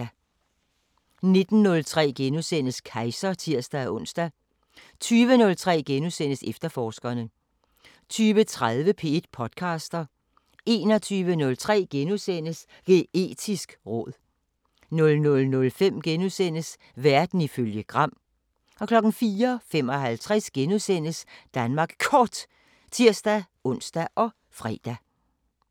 19:03: Kejser *(tir-ons) 20:03: Efterforskerne * 20:30: P1 podcaster 21:03: Geetisk råd * 00:05: Verden ifølge Gram * 04:55: Danmark Kort *(tir-ons og fre)